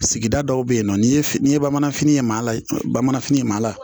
Sigida dɔw bɛ yen nɔ ni ye fini ye bamananfini ye maa bamananfini ye maa